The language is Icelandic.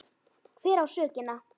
Hver á sökina?